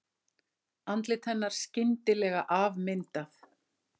Andlit hennar skyndilega afmyndað.